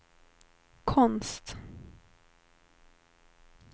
konst